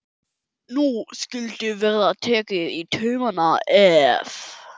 Nú skyldi verða tekið í taumana, ef.